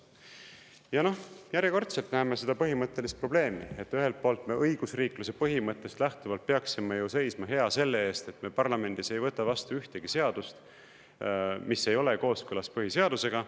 Ja järjekordselt näeme seda põhimõttelist probleemi, et ühelt poolt me õigusriikluse põhimõttest lähtuvalt peaksime ju seisma hea selle eest, et me parlamendis ei võta vastu ühtegi seadust, mis ei ole kooskõlas põhiseadusega.